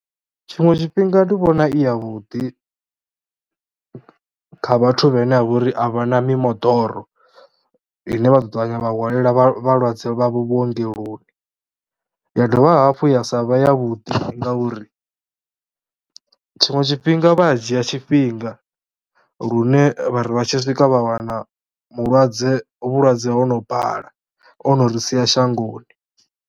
Tshiṅwe tshifhinga ndi vhona i yavhuḓi kha vhathu vhane a vha uri a vha na mimoḓoro ine vha ḓo ṱavhanya vha hwanela vhavho vhalwadze vhuengoloni, ya dovha hafhu ya sa vhe yavhuḓi ngauri tshiṅwe tshifhinga vha a dzhia tshifhinga lune vha ri vha tshi swika vha wana mulwadze, vhulwadze ho no bala o no ri sia shangoni.